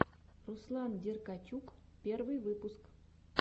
руслан деркачук первый выпуск